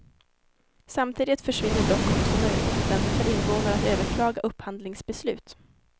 Samtidigt försvinner dock också möjligheten för invånare att överklaga upphandlingsbeslut.